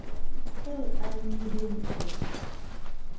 eo a nnileng a e